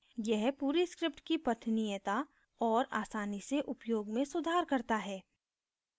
यह पूरी script की पठनीयता और आसानी से उपयोग में सुधार करता है